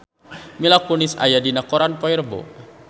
Mila Kunis aya dina koran poe Rebo